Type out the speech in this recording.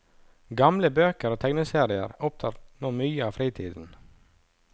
Gamle bøker og tegneserier opptar nå mye av fritiden.